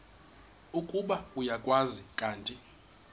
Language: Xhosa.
ukuba uyakwazi kanti